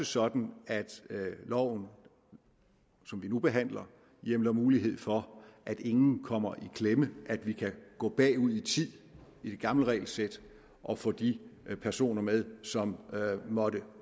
sådan at loven som vi nu behandler hjemler mulighed for at ingen kommer i klemme at vi kan gå bagud i tid i det gamle regelsæt og få de personer med som måtte